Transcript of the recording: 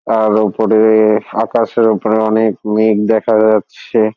আর ওপরে-এ-এ আকাশের ওপরে অনেক মেঘ দেখা যাচ্ছে-এ।